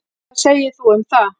Hvað segir þú um það?